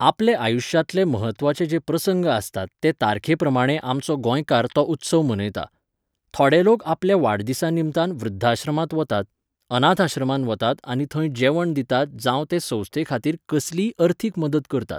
आपले आयुश्यांतले महत्वाचे जे प्रसंग आसतात ते तारखे प्रमाणे आमचो गोंयकार तो उत्सव मनयता. थोडे लोक आपल्या वाडदिसा निमतान वृध्दाश्रमांत वतात, अनाथ आश्रमांत वतात आनी थंय जेवण दितात जावं ते संस्थे खातीर कसलीय अर्थीक मदत करतात.